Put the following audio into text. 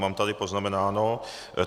Mám tady poznamenáno.